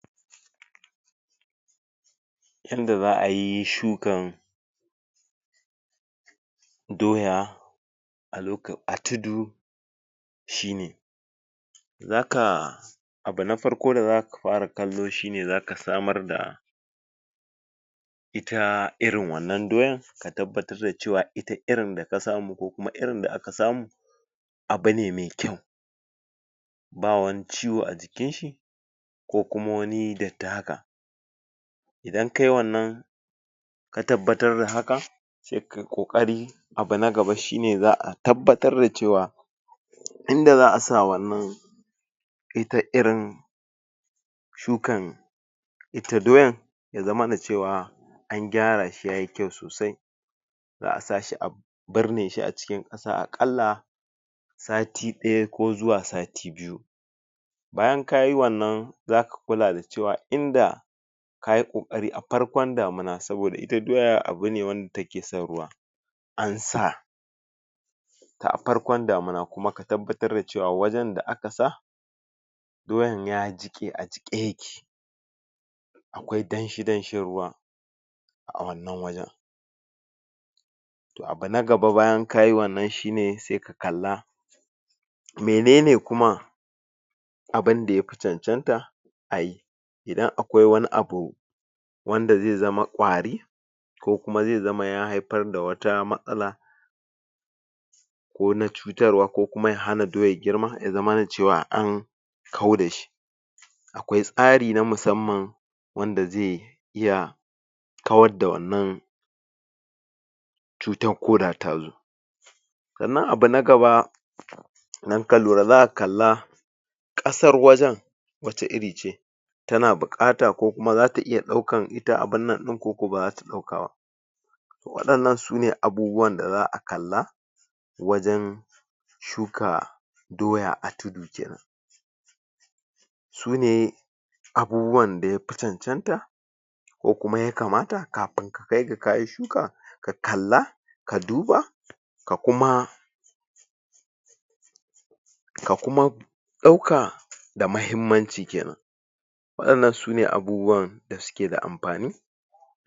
Yanda za'ayi shukan doya a loka... a tudu shine: Zaka abu na farko da zaka fara kallo shine zaka samar da ita irin wannan doyan ka tabbatar da ce wa ita irin da ka samu ko kuma irin da aka samu abu ne mai kyau, ba wani ciwo a jikinshi ko kuma wani datti haka, idan kai wannan ka tabbatar da haka sai kai ƙoƙari abu na gaba shine za'a tabbatar da ce wa inda za'a sa wannan ita irin shukan ita doyan yazamana cewa an gyara shi yayi kyau sosai, za'a sa shi a birne shi cikin ƙasa a ƙalla sati ɗaya ko zuwa sati biyu, bayan kayi wannan zaka kula da cewa inda kayi ƙoƙari a farkon damuna saboda ita doya abune wanda ta ke son ruwa, an sa ta a farkon damuna kuma ka tabbatar da cewa wajen da aka sa doyan ya jiƙe a jiƙe ya ke akwai danshi danshin ruwa a wannan wajen, to abu na gaba bayan kayi wannan shine sai ka kalla menene kuma abunda ya fi cancanta ayi, idan akwai wani abu wanda zai zama ƙwari ko kuma zai zama ya haifar da wata matsala ko na cutarwa ko kuma ya hana doyar girma yazamana ce wa an kauda shi, akwai tsari na musamman wanda ze iya kawadda wannan cutar koda ta zo, sannan abu na gaba idan ka lura zaka kalla ƙasar wajen wace iri ce ta na buƙata ko kuma zata iya ɗaukan ita abunnan ɗin ko ko ba za ta ɗauka ba, to waɗannan sune abubuwan da za'a kalla wajen shuka doya a tudu kenan, sune abubuwanda ya fi cancanta ko kuma yakamata kafin ka kaiga kayi shuka ka kalla, ka duba, ka kuma ka kuma ɗauka da mahimmanci kenan, waɗannan sune abubuwanda suke da amfani.